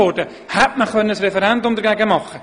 Dagegen hätte man das Referendum ergreifen können.